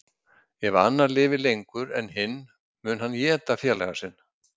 Ef annar lifir lengur en hinn mun hann éta félaga sinn.